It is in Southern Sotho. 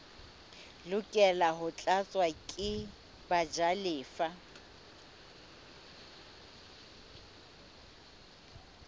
lokela ho tlatswa ke bajalefa